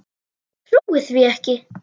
Ég trúi því ekki!